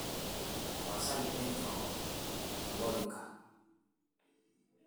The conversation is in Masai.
tapasali enchooo olorika